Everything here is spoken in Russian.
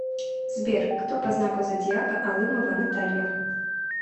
сбер кто по знаку зодиака алымова наталья